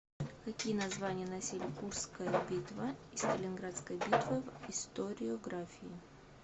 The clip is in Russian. какие названия носили курская битва и сталинградская битва в историографии